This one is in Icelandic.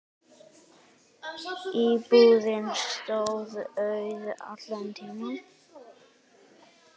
Íbúðin stóð auð allan tímann.